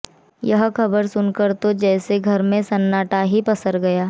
यह खबर सुनकर तो जैसे घर में सन्नाटा ही पसर गया